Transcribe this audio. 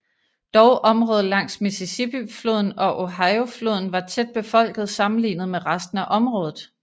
Dog området langs Mississippifloden og Ohiofloden var tætbefolket sammenlignet med resten af området